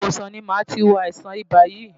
Ilé ìwòsàn ni màá ti wo àìsàn ibà yìí.